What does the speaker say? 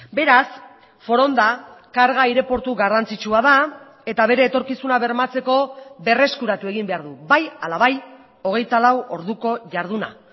beraz foronda karga aireportu garrantzitsua da eta bere etorkizuna bermatzeko berreskuratu egin behar du bai hala bai hogeita lau orduko jarduna